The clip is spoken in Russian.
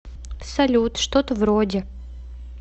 салют что то вроде